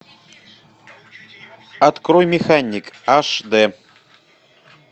открой механик аш дэ